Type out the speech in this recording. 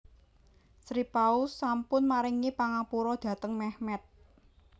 Sri Paus sampun maringi pangapura dhateng Mehmet